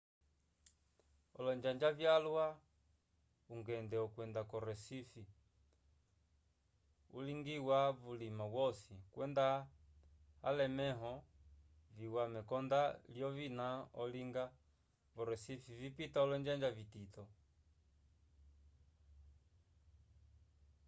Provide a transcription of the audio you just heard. olonjanja vyalwa ungende wokwenda ko recife ulingiwa vulima wosi kwenda alemẽho viya mekonda lyovina olinga vo recife vipita olonjanja vitito